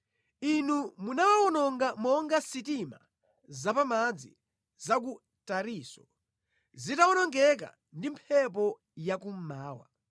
Inu munawawononga monga sitima zapamadzi za ku Tarisisi zitawonongeka ndi mphepo ya kummawa.